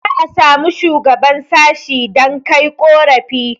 za a samu shuagaban sashi dan Kai ƙorafi